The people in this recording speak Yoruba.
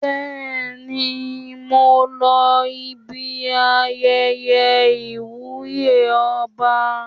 Bẹ́ẹ̀ni, mo lọ ibi ayẹyẹ ìwúyè ọba.